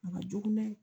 A ka jugu dɛ